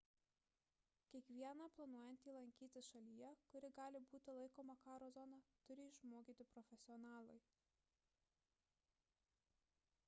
kiekvieną planuojantį lankytis šalyje kuri gali būti laikoma karo zona turi išmokyti profesionalai